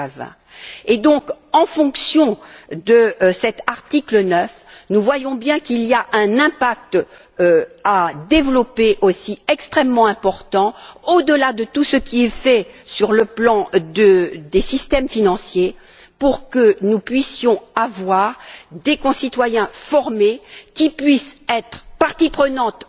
2020. Donc, en fonction de cet article 9, nous voyons bien qu'il y a un impact à développer aussi, extrêmement important, au delà de tout ce qui est fait sur le plan des systèmes financiers, pour que nous puissions avoir des concitoyens formés qui puissent être totalement parties prenantes